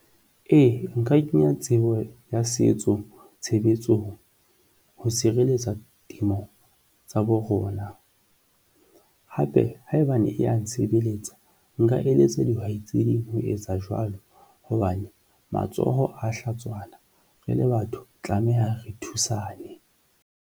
Ee, nka kenya tsebo ya setso tshebetsong ho sirelletsa temo tsa borona. Hape, haebane e ya nsebelletsa, nka eletsa dihwai tse ding ho etsa jwalo hobane matsoho a hlatswana, re le batho, tlameha re thusane.